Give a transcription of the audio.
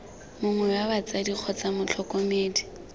mongwe wa batsadi kgotsa motlhokomedi